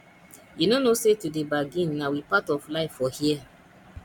you no know sey to dey bargin na we part of life for here